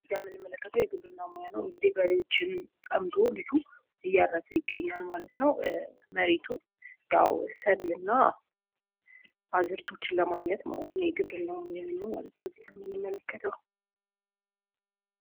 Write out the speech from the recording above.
እዚህ ጋር የምንመለከተው የግብርና ሞያ ነው እንግዲህ በሬዎችን ጠምዶ ልጁ እያረሰ ይገኛል ማለት ነው መሬቱን። ያው ሰብልና አዝእርቶችን ለማግኘት ነው ማለት ነው የግብርናው ማለት ነው እዚህጋ የምንመለከተው።